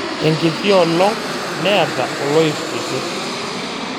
Enkiti olong' neata oloip kitii.